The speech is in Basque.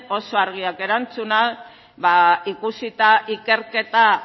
oso argiak erantzunak ikusita ikerketa